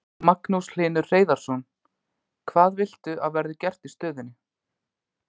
Magnús Hlynur Hreiðarsson: Hvað viltu að verði gert í stöðunni?